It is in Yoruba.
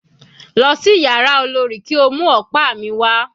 Lọ sí yàrá olorì kí o mú ọ̀pá mi wà.